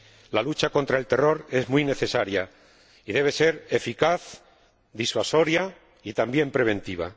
La lucha contra el terror es muy necesaria y debe ser eficaz, disuasoria y también preventiva.